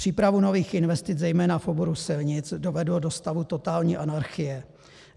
Přípravu nových investic, zejména v oboru silnic, dovedlo do stavu totální anarchie.